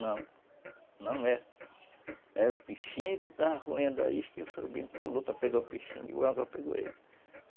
Não, não é. Era o peixinho que estava roendo a isca e o surubim pulou para pegar o peixinho e o anzol pegou ele.